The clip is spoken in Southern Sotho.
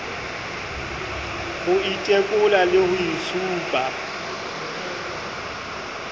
ho itekola le ho itshupa